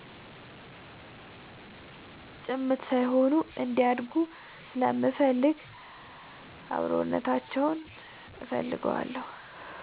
ጭምት ሳይሆኑ እንዲያድጉ ስለምፈልግ አብሮነታችንን እፈልገዋለሁ።